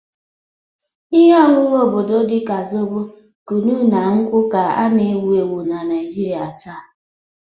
Ihe ọṅụṅụ obodo dị ka zobo, kunu, na nkwụ ka na-ewu ewu na Naijiria taa.